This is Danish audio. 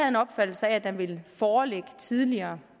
en opfattelse af at den ville foreligge tidligere